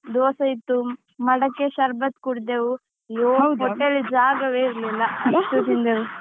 ದೋಸೆ ಇತ್ತು, ಮಡಕೆ ಶರ್ಬತ್ ಕುಡ್ದೆವು. ಅಯ್ಯೋ ಹೊಟ್ಟೇಲಿ ಜಾಗವೇ ಇರ್ಲಿಲ್ಲ. ಅಷ್ಟು ತಿಂದೆವು.